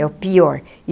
É o pior.